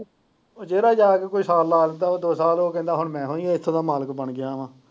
ਜਿਹੜਾ ਜਾ ਕੇ ਕੋਈ ਫ਼ਲ ਲਾ ਹੈ ਉਹ ਦੋ ਸਾਲ ਹੋ ਗਏ ਲੈ ਮੈਂ ਹੀ ਹੁਣ ਇੱਥੋਂ ਦਾ ਮਾਲਿਕ ਬਣ ਗਿਆ ਵਾ।